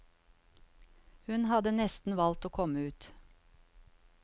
Hun hadde nesten valgt å komme ut.